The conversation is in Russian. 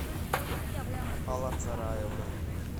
алла цараевна